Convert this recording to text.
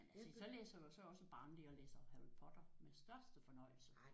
Men altså så læser jeg jo så er jeg også barnlig og læser Harry Potter med største fornøjelse